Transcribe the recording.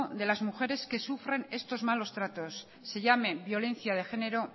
de las mujeres que sufren estos malos tratos se llame violencia de género